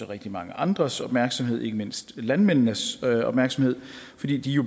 rigtig mange andres opmærksomhed ikke mindst landmændenes opmærksomhed fordi de